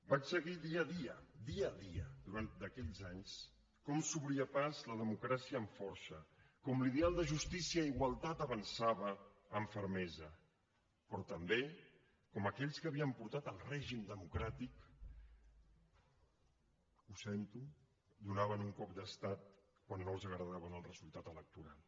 vaig seguir dia a dia dia a dia durant aquells anys com s’obria pas la democràcia amb força com l’ideal de justícia i igualtat avançava amb fermesa però també com aquells que havien portat el règim democràtic ho sento donaven un cop d’estat quan no els agradava el resultat electoral